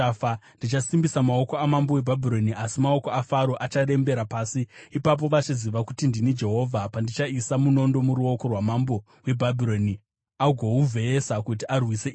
Ndichasimbisa maoko amambo weBhabhironi, asi maoko aFaro acharembera pasi. Ipapo vachaziva kuti ndini Jehovha, pandichaisa munondo muruoko rwamambo weBhabhironi agouvheyesa kuti arwise Ijipiti.